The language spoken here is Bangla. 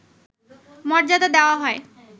মর্যাদা দেওয়া হয়